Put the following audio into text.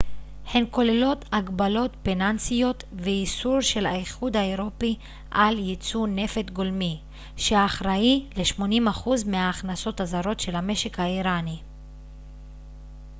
הן כוללות הגבלות פיננסיות ואיסור של האיחוד האירופי על ייצוא נפט גולמי שאחראי ל-80% מהכנסות הזרות של המשק האיראני